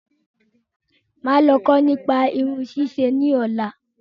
Máà lọ kó nípa Irun ṣísẹ ni ọ̀la